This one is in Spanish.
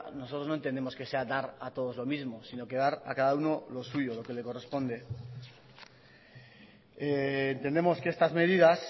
nosotros no entendemos que sea dar a todos lo mismo sino que dar a cada uno lo suyo lo que le corresponde entendemos que estas medidas